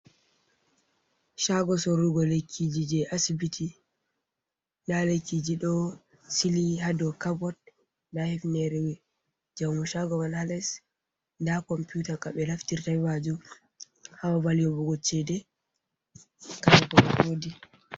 Chago sorrugo lekkiji je asbiti, nda lekkiji ɗo sili ha dou carboot, nda hivnere jaumo shago man ha lles, nda computa ko ɓe naftirta be majum ha babal yoɓugo chede ha waɗugo recodin.